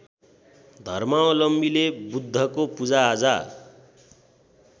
धर्मावलम्बीले बुद्धको पूजाआजा